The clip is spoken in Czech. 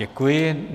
Děkuji.